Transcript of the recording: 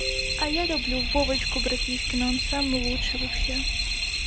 а я люблю вовочку братишкина он самый лучший вообще